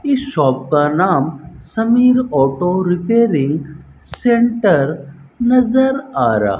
इस शॉप का नाम समीर ऑटो रिपेयरिंग सेंटर नजर आ रहा --